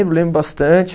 Lembro bastante.